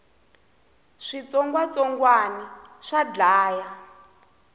switsongwatsongwani swa dlaya